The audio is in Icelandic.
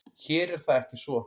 Hér er það ekki svo.